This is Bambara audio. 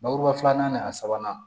Bakuruba filanan nin a sabanan